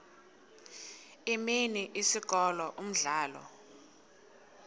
imini isikolo umdlalo